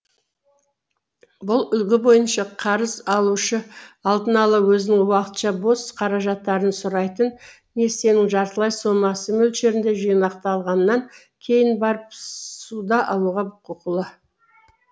бұл үлгі бойынша қарыз алушы алдын ала өзінің уақытша бос қаражаттарын сұрайтын несиенің жартылай сомасы мөлшерінде жинақтағаннан кейін барып ссуда алулға құқылы